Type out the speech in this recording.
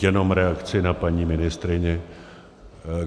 Jenom reakci na paní ministryni.